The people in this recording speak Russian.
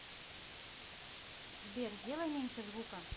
сбер сделай меньше звука